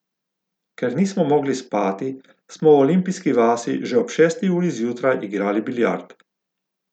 Ker nismo mogli spati, smo v olimpijski vasi že ob šesti uri zjutraj igrali biljard.